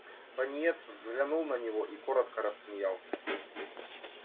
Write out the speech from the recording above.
пониетс взглянул на него и коротко рассмеялся